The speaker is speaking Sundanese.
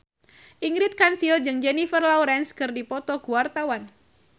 Ingrid Kansil jeung Jennifer Lawrence keur dipoto ku wartawan